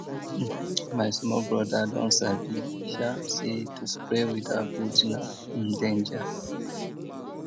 um my small brother don sabi um say to spray without boot na um danger